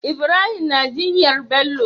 Ibrahim na jinyar Bello